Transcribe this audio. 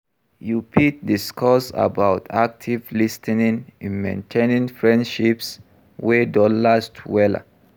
You fit discuss about active lis ten ing in maintaining friendships wey don last wella.